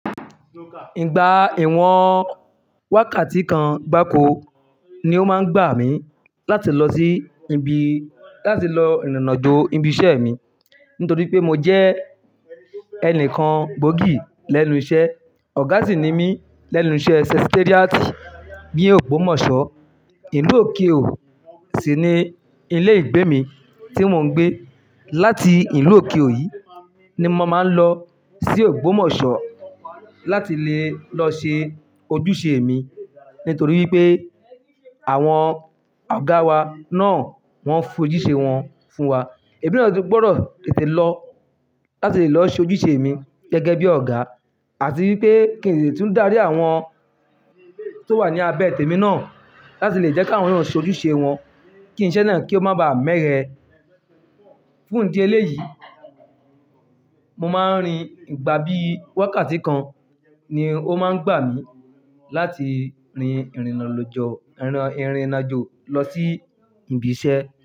Ìgbà ìwọ̀n wákàtí kan gbáko ni ó máa ń gbà mí láti lọ sí ibi, láti lọ ìrìnàjò ibi iṣẹ́ mi. Nítorí pé mo jẹ́ ẹni kan gbòógì lẹ́nu iṣẹ́, ọ̀gá sì ni mí lẹ́nu iṣẹ́ Secretariat ní Ògbómọ̀ṣọ́. Ìlú òkiròò yí sì ni ilé ìgbé mi tí mò ń gbé. Láti ìlú òkiròò yí ni mo máa ń lọ sí Ògbómọ̀ṣọ́ láti le lọ ṣe ojúṣe mi. Nítorí wípé àwọn ọ̀gá wa náà wọ́n ń fi ojúṣe wọn fún wa. Èmi náà sì gbọ́dọ̀ tètè lọ láti lè lọ ṣe ojúṣe mi gẹ́gẹ́ bí ọ̀gá. Àti wípé kí n lè tún dárí àwọn tó wà ní abẹ́ tèmi náà láti lè jẹ́ kí àwọn náà ṣe ojúṣe wọn kí iṣẹ́ náà kí ó má baà mẹ́eye. Fún ìdí eléyìí, mo máa ń rin ìgbà bí wákàtí kan ni ó máa ń gbà mí láti rin ìrìnàjò lọ sí ibi iṣẹ́.